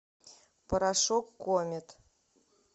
порошок комет